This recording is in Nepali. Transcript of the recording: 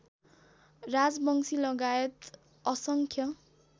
राजवंशी लगायत असंख्य